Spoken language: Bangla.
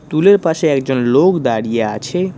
টুলের পাশে একজন লোক দাঁড়িয়ে আছে।